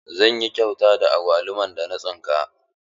Zan yi kyauta da agwaluman da na tsinka.